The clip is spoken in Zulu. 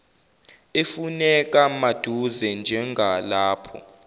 efuneka maduze njengalapho